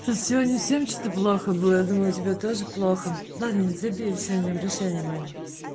просто сегодня всем что-то плохо было я думала тебя тоже плохо ладно забей не обращай внимания